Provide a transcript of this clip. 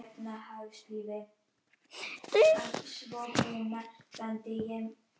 Það var dimmt í forstofunni og hann hikaði við að ganga lengra.